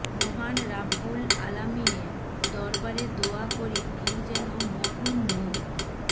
মহান রাব্বুল আলামীনের দরবারে দোয়া করি তিনি যেন মরহুম মো